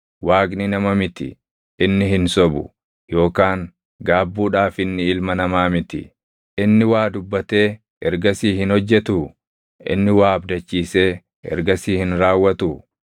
Waaqni nama miti; inni hin sobu; yookaan gaabbuudhaaf inni ilma namaa miti. Inni waa dubbatee ergasii hin hojjetuu? Inni waa abdachiisee ergasii hin raawwatuu?